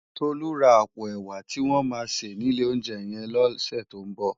Tolu lò rá àpó èwá tiwòn má sé ni ilé óunjè yèn lòsè tó n bò